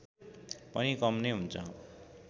पनि कम नै हुन्छ